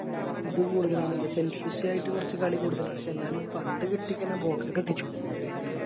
ഇത് കൂടുതലാണ് Selfish ആയിട്ട് കൊറച്ച് കളി കൂടുതലാണ് പക്ഷെ എന്നാലും പന്ത് കിട്ടി കയിഞ്ഞ Box ക്ക് എത്തിച്ചോളും